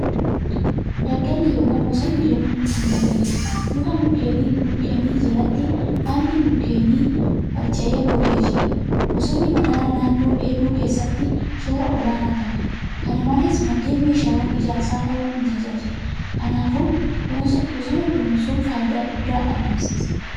Daggalli yookan bosonni mukkeeniin guutamee jira. Luka mukkeenii jalatti baalli mukkeenii harca'ee gogee jira. Bosonni madaala naannoo eeguu keessatti shoora olaanaa taphata. Kana malees, maddeen meeshaawan ijaarsaa ta'uun nu tajaajila. Kanaafuu, bosona kunuunsuun faayidaa guddaa argamsiisa.